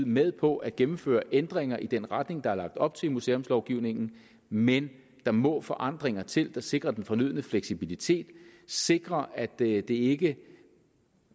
med på at gennemføre ændringer i den retning der er lagt op til i museumslovgivningen men der må forandringer til der sikrer den fornødne fleksibilitet sikrer at det det ikke